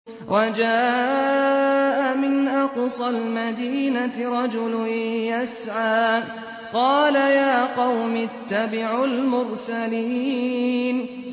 وَجَاءَ مِنْ أَقْصَى الْمَدِينَةِ رَجُلٌ يَسْعَىٰ قَالَ يَا قَوْمِ اتَّبِعُوا الْمُرْسَلِينَ